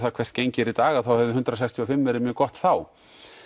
hvað gengið er í dag þá hefði hundrað sextíu og fimm verið gott þá